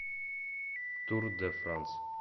тур де франс